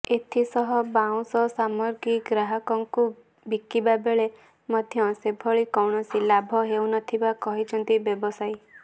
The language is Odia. ଏଥିସହ ବାଉଁଶ ସାମଗ୍ରୀ ଗ୍ରାହକଙ୍କୁ ବିକିବାବେଳେ ମଧ୍ୟ ସେଭଳି କୌଣସି ଲାଭ ହେଉନଥିବା କହିଛନ୍ତି ବ୍ୟବସାୟୀ